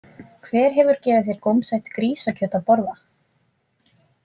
Hver hefur gefið þér gómsætt grísakjöt að borða?